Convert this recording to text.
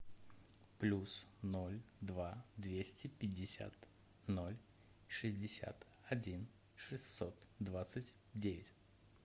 плюс ноль два двести пятьдесят ноль шестьдесят один шестьсот двадцать девять